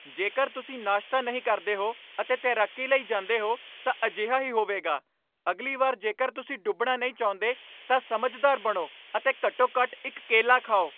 ਜੇਕਰ ਤੁਸੀਂ ਨਾਸ਼ਤਾ ਨਹੀਂ ਕਰਦੇ ਹੋ ਅਤੇ ਤੈਰਾਕੀ ਲਈ ਜਾਂਦੇ ਹੋ ਤਾਂ ਅਜਿਹਾ ਹੀ ਹੋਵੇਗਾ ਅਗਲੀ ਵਾਰ ਜੇਕਰ ਤੁਸੀਂ ਡੁੱਬਣਾ ਨਹੀਂ ਚਾਹੁੰਦੇ ਤਾਂ ਸਮਝਦਾਰ ਬਣੋ ਅਤੇ ਘੱਟੋ ਘੱਟ ਇਕ ਕੇਲਾ ਖਾਓ